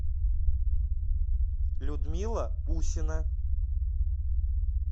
людмила усина